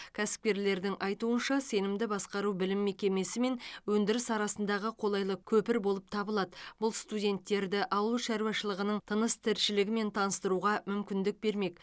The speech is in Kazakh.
кәсіпкерлердің айтуынша сенімді басқару білім мекемесі мен өндіріс арасындағы қолайлы көпір болып табылады бұл студенттерді ауыл шаруашылығының тыныс тіршілігімен таныстыруға мүмкіндік бермек